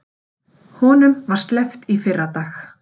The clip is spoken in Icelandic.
Honum var sleppt í fyrradag